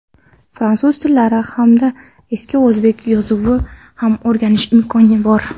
fransuz tillari hamda eski o‘zbek yozuvini ham o‘rganish imkoni bor.